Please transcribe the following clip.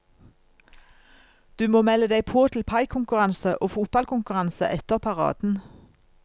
Du må melde deg på til paikonkurranse og fotballkonkurranse etter paraden.